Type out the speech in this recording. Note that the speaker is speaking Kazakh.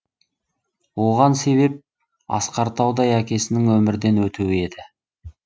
оған себеп асқар таудай әкесінің өмірден өтуі еді